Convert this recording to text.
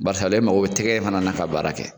Barisa ale mako bɛ tigɛ in fana na ka baara kɛ.